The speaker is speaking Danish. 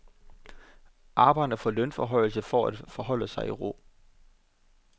Arbejderne får lønforhøjelse for at forholde sig i ro.